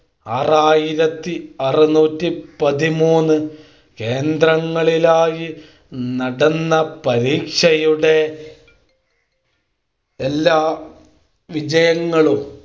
ആറായിരത്തി അറുനൂറ്റി പതിമൂന്ന് കേന്ദ്രങ്ങളിലായി നടന്ന പരീക്ഷയുടെ എല്ലാ വിജയങ്ങളും